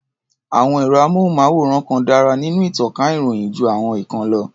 Àwọn ẹ̀rọ-amóhùnmáwòrán kan dárá nínú ìtànká ìròyìn jú àwọn ìkan lọ.